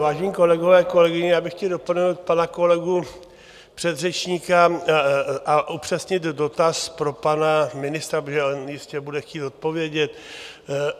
Vážení kolegové, kolegyně, já bych chtěl doplnit pana kolegu předřečníka a upřesnit dotaz pro pana ministra, protože on jistě bude chtít odpovědět.